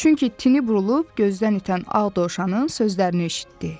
Çünki tini burulub gözdən itən ağ dovşanın sözlərini eşitdi.